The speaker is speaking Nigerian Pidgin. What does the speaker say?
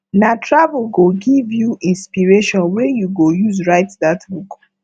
na travel go give you inspiration wey you go use write dat book